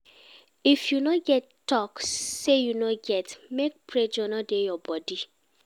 If you no get talk say you no get, make pressure no dey your body